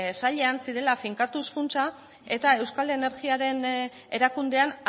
sailean zirela finkatuz funtsa eta euskal energiaren erakundean